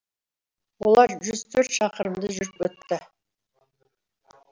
олар жүз төрт шақырымды жүріп өтті